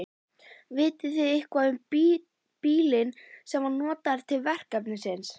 Vitið þið eitthvað um bílinn sem var notaður til verksins?